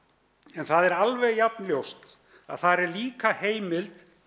en það er alveg jafnljóst að þar er líka heimild